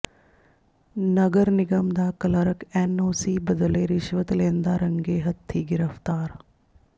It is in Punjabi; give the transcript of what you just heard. ਨਗਰ ਨਿਗਮ ਦਾ ਕਲਰਕ ਐੱਨਓਸੀ ਬਦਲੇ ਰਿਸ਼ਵਤ ਲੈਂਦਾ ਰੰਗੇ ਹੱਥੀਂ ਗ੍ਰਿਫ਼ਤਾਰ